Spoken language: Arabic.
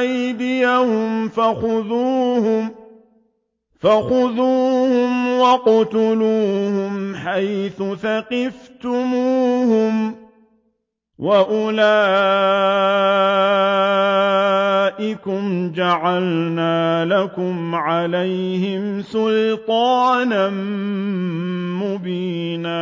أَيْدِيَهُمْ فَخُذُوهُمْ وَاقْتُلُوهُمْ حَيْثُ ثَقِفْتُمُوهُمْ ۚ وَأُولَٰئِكُمْ جَعَلْنَا لَكُمْ عَلَيْهِمْ سُلْطَانًا مُّبِينًا